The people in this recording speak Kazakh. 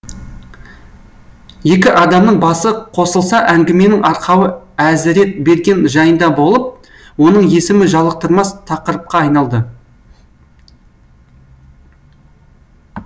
екі адамның басы қосылса әңгіменің арқауы әзіретберген жайында болып оның есімі жалықтырмас тақырыпқа айналды